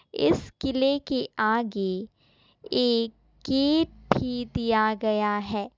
इस किले के आगे एक गेट भी दिया गया है।